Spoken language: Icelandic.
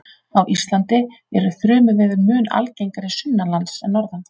á íslandi eru þrumuveður mun algengari sunnanlands en norðan